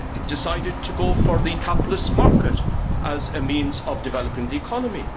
decided to go for the capitalist market as a means of developing the economy.